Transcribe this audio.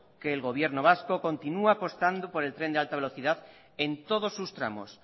que el gobierno vasco continúe apostando por el tren de alta velocidad en todos sus tramos